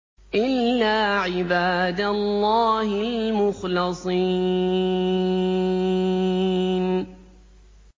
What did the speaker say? إِلَّا عِبَادَ اللَّهِ الْمُخْلَصِينَ